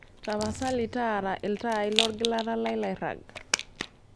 tapasali taara iltaai lolgilata lai lairrag